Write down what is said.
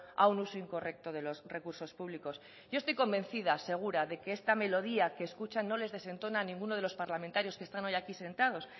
a un uso incorrecto de los recursos públicos yo estoy convencida segura de que esta melodía que escuchan no les desentona a ninguno de los parlamentarios que están hoy aquí sentados